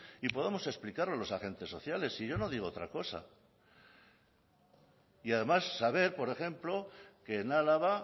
y podamos explicar los agentes sociales si yo no digo otra cosa y además saber por ejemplo que en álava